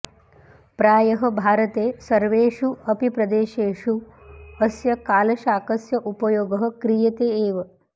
प्रायः भारते सर्वेषु अपि प्रदेशेषु अस्य कालशाकस्य उपयोगः क्रियते एव